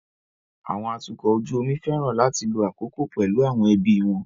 Àwọn atukọ̀ ojú omi fẹ́ràn láti lo àkókò pẹ̀lú àwọn ẹbí wọn.